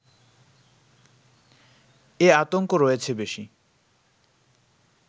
এ আতঙ্ক রয়েছে বেশি